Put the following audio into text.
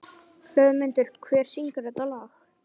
Hlöðmundur, hver syngur þetta lag?